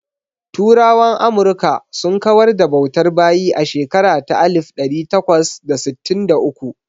Turawan Amurka sun kawar da bautar bayi a shekara ta alif ɗari takwas da sittin da uku.